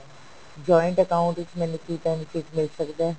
joint account ਵਿੱਚ ਮੈਨੂੰ ਕੀ benefit ਮਿਲ ਸਕਦਾ